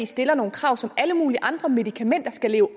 stiller nogle krav som alle mulige andre medikamenter skal leve